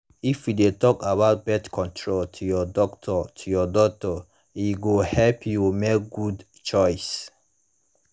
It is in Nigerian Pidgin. if you de talk about birth control to your doctor to your doctor e go help you make good choice